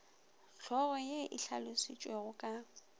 hlogo ye e hlalošitšwego ka